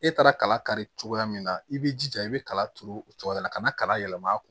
E taara kala kari cogoya min na i b'i jija i bɛ kala turu o cogoya la ka na kala yɛlɛma